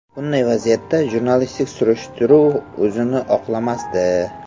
Bunday vaziyatda jurnalistik surishtiruv o‘zini oqlamasdi.